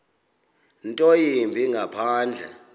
nto yimbi ngaphandle